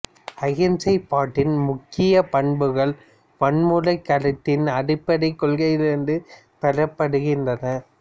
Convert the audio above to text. அகிம்சை பட்டின் முக்கிய பண்புகள் வன்முறை கருத்தின் அடிப்படை கொள்கைகளிலிருந்து பெறப்படுகின்றன